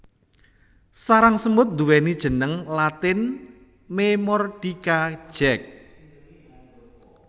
Sarang semut nduweni jeneng latin Memordica Jack